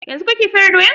Yanzun kake fere doyan?